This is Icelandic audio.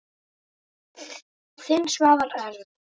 Þinn, Svavar Örn.